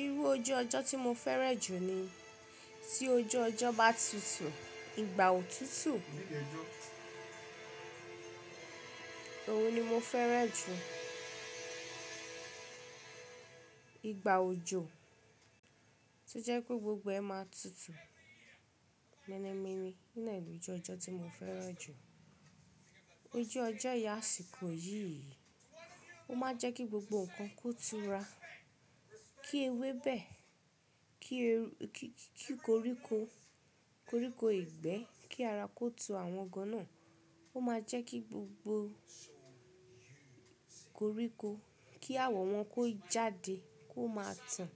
Irú ojú ọjọ́ tí mo fẹ́ràn jù ni tí ojú ọjọ́ bá tutù, ìgbà òtútù, òun ni mo fẹ́ràn jù. Ìgbà òjò tó jẹ́ pé gbogbo ẹ máa tutù. Menemi ni, iná ìlú ojú ọjọ́ tí mo fẹ́ràn jù. Ojú ọjọ́ ìyá àsìkò yìí, ó máa jẹ́ kí gbogbo nǹkan kó tura, kí ewébẹ̀, kí, kí koríko, koríko ìgbẹ́, kí ara kó tu àwọn gan náà. Ó máa jẹ́ kí gbogbo koríko, kí àwọ̀wọn kó jáde kó máa tàn.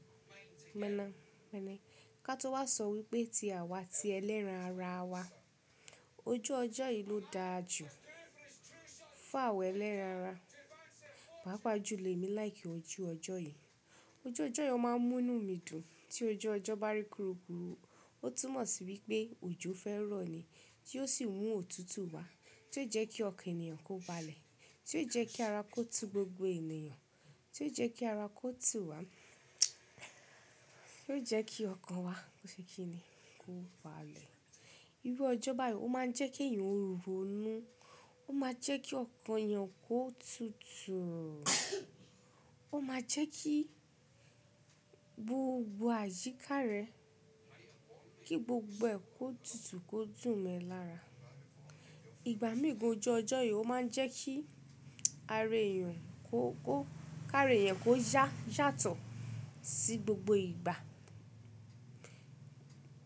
Mẹ́nà, mẹ́nẹ́. Ká tó wá sọ wípé tí àwa ti ẹlẹ́ran ara wa, ojú ọjọ́ yìí ló da jù. Fún àwa ẹlẹ́ran ara. Pàápàá jù lọ èmi like ojú ọjọ́ yìí. Ojú ọjọ́ yi o máa ń mú inú mi dùn. Tí ojú ọjọ́ bá rí kúrú kúrú, ó túmọ̀ sí wípé òjò fẹ́ rọ̀ ni. Tí ó sì mú òtútù wá, tí ó jẹ́ kí ọkàn ènìyàn kó balẹ̀. Tí ó jẹ́ kí ara kó tu gbogbo ènìyàn. Tí ó jẹ́ kí ara kó tùú wá. Tí ó jẹ́ kí ọkàn wa, bó ṣe kíni, kó balẹ̀. Irú ọjọ́ báyìí ó máa ń jẹ́ kí ẹ̀yàn ro inú. Ó máa jẹ́ kí ọkàn èèyàn kó tutù. Ó máa jẹ́ kí gbogbo àyíká rẹ̀, kí gbogbo ẹ̀ kó tutù, kó dùn mọ ẹ́ lára. Ìgbà mí gan ojú ọjọ́ yìí ó máa ń jẹ́ kí ara èèyàn kó, kó, kára ẹ̀yẹn kó yà, yàtọ̀ sí gbogbo ìgbà.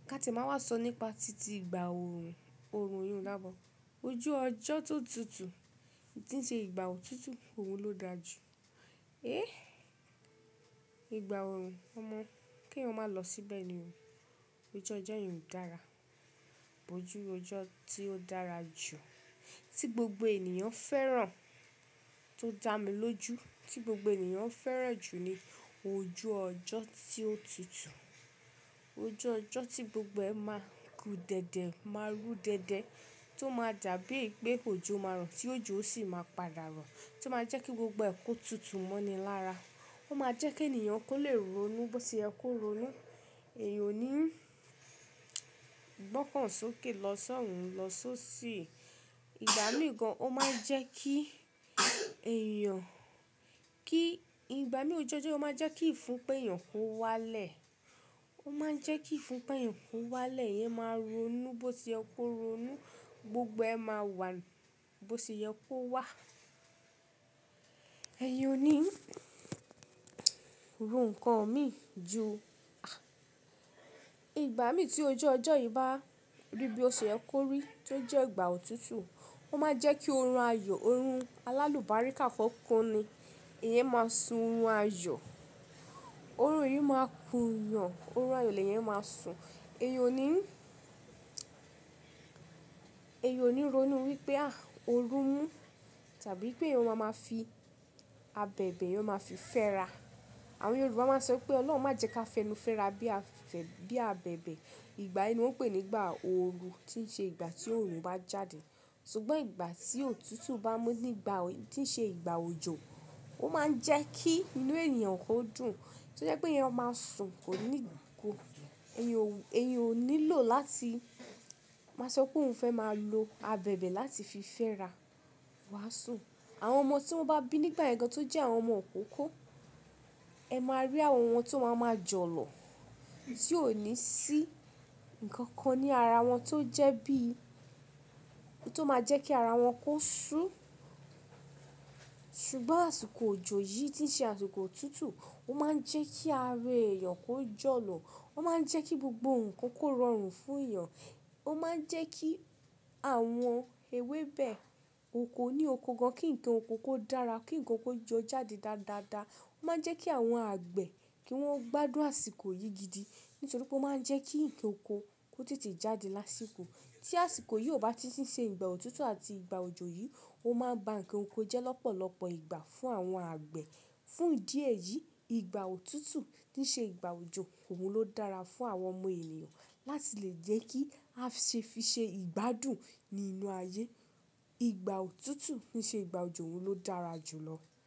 Ka ti máa wá sọ nípa títí ìgbà òòrùn, òòrùn ìyèǹdá bo. Ojú ọjọ́ tó tutù, tí ń ṣe ìgbà òtútù, òun ló da jù. Éh! Ìgbà òòrùn, ọmọ, kí èyàn máa lọ síbẹ̀ ni o. Ojú ọjọ́ yẹn ò dára. Ojú ọjọ́ tí ó dára jù, tí gbogbo ènìyàn ń fẹ́ràn tó dà mí lójú, tí gbogbo ènìyàn ń fẹ́ràn jù ni ojú ọjọ́ tí ó tutù. Ojú ọjọ́ tí gbogbo ẹ máa gu dẹ̀dẹ̀, máa ru dẹ̀dẹ̀, tó máa dà bíi pé òjò máa rọ̀, tí òjò ó sì máa padà rọ̀, tí ó máa jẹ́ kí gbogbo ẹ̀ kó tutù mọ́ni lára. Ó máa jẹ́ kí ènìyàn kó lè ro inú bó ṣe ẹ kó ro inú. Èèyàn ò ní gbọ́kàn sókè lọ sọ́ọ̀ún lọ só sí. Ìgbà míì gan ó máa ń jẹ́ kí èèyàn, kí, ìgbà míì ojú ọjọ́ ó máa ń jẹ́ kí ìfunpa èèyàn kó wá lẹ̀. Ó máa ń jẹ́ kí ìfunpa ẹ̀yàn kó wá lẹ̀, èyàn máa ro inú bó ṣe ẹ kó ro inú. Gbogbo ẹ máa wà bó ṣe ẹ kó wà. Èèyàn ò ní ro nǹkan mí ju. Ìgbà míì tí ojú ọjọ́ yìí bá rí bí o ṣe ẹ kó rí, tí ó jẹ́ ìgbà òtútù, ó máa jẹ́ kí orun ayọ̀, orun alálùbáríkà kọ́kọ́ ni ìyẹn máa sun orun ayọ̀. Orun yìí máa kù yàn, orun ayọ̀ lèyẹn máa sùn. Èèyàn ò ní, èèyàn ò ní ro inú wípé, à, orun mú tàbí wípé ìyẹn ó máa fi abẹ̀bẹ̀, ìyẹn ó máa fi fẹ́ra. Àwọn Yorùbá máa ń sọ wípé Ọlọ́run má jẹ ka fẹnu fẹ́ra bí i abẹ̀bẹ̀. Ìgbà yìí ni wón ń pè ní ìgbà ooru, tí ń ṣe ìgbà tí òòrùn bá jáde. Sugbọ́n ìgbà tí òtútù bá mú nígbà tí ń ṣe ìgbà òjò, ó máa ń jẹ́ kí inú ènìyàn kó dùn. Tó jẹ́ pé ìyẹn ó máa sùn kò ní ìgò. Èyàn ò nílò láti, máa sọ pé òun fẹ́ máa lo abẹ̀bẹ̀ láti fi fẹ́ra. Wàá sùn. Àwọn ọmọ tí wọ́n bá bí nígbà ẹ̀ẹ̀kan tó jẹ́ àwọn ọmọ ìkókó, ẹ máa rí àwọn wọn tó máa ma jọ̀lọ̀. Tí ò ní sí nǹkan kan ní ara wọn tó jẹ́ bí i, tó máa jẹ́ kí ara wọn kó sú. Sugbọ́n àsìkò òjò yìí tí ń ṣe àsìkò òtútù, ó máa ń jẹ́ kí ara èèyàn kó jọ̀lọ̀. Ó máa ń jẹ́ kí gbogbo nǹkan kó rọrùn fún èèyàn. Ó máa ń jẹ́ kí àwọn ewébẹ̀ oko ní oko kan, kí nǹkan oko kó dára, kí nǹkan oko jó jáde dáadáa. Ó máa ń jẹ́ kí àwọn àgbẹ̀ kí wọ́n gbádùn àsìkò yìí gidi. Nítorí pé ó máa ń jẹ́ kí nǹkan oko kó tètè jáde lásìkò. Tí àsìkò yìí ò bá ti ń ṣe ìgbà òtútù àti ìgbà òjò yìí, ó máa ba nǹkan oko jẹ́ lọ́pọ̀lọpọ̀ ìgbà fún àwọn àgbẹ̀. Fún ìdí ẹ̀yìí, ìgbà òtútù tí ń ṣe ìgbà òjò, òun ló dára fún àwọn ọmọ ènìyàn láti lè jẹ́ kí a ṣe fi ṣe ìgbádùn nínú ayé. Ìgbà òtútù tí ń ṣe ìgbà òjò, òun ló dára jù lọ.